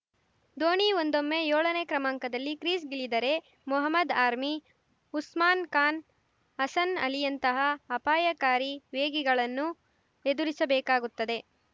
ಧೋನಿ ಒಂದೊಮ್ಮೆ ಯೋಳನೇ ಕ್ರಮಾಂಕದಲ್ಲಿ ಕ್ರೀಸ್‌ಗಿಳಿದರೆ ಮೊಹಮದ್‌ ಆರ್ಮಿ ಉಸ್ಮಾನ್‌ ಖಾನ್‌ ಹಸನ್‌ ಅಲಿಯಂತಹ ಅಪಾಯಕಾರಿ ವೇಗಿಗಳನ್ನು ಎದುರಿಸಬೇಕಾಗುತ್ತದೆ